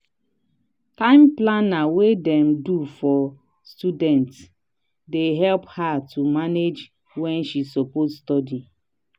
time planner wey dem do for studentsdey help her to manage wen she suppose study.